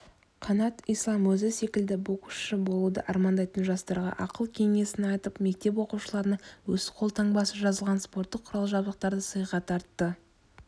қанат ислам өзі секілді боксшы болуды армандайтын жастарға ақыл-кеңесін айтып мектеп оқушыларына өз қолтаңбасы жазылған спорттық құрал-жабдықтарды сыйға тартты